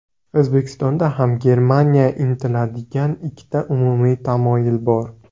O‘zbekistonda ham Germaniya intiladigan ikkita umumiy tamoyil bor.